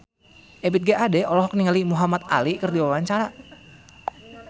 Ebith G. Ade olohok ningali Muhamad Ali keur diwawancara